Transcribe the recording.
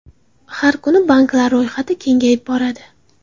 Har kuni banklar ro‘yxati kengayib boradi.